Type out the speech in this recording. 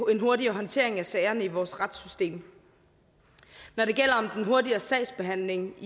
en hurtigere håndtering af sagerne i vores retssystem når det gælder den hurtigere sagsbehandling